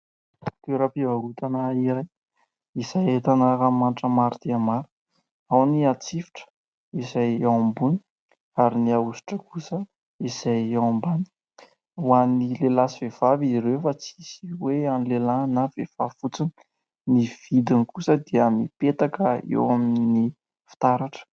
Toeram-pivarotana iray izay ahitana ranomanitra maro dia maro, ao ny atsifotra izay ao ambony ary ny ahosotra kosa izay ao ambany. Ho an'ny lehilahy sy vehivavy ireo fa tsy misy hoe an'ny lehilahy na vehivavy fotsiny, ny vidiny kosa dia mipetaka eo amin'ny fitaratra.